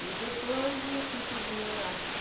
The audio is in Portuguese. E depois eu fui fazer artes.